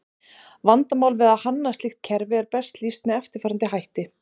Vandamál við að hanna slíkt kerfi er best lýst með eftirfarandi hætti.